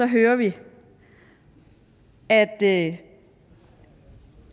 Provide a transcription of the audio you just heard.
hører vi at det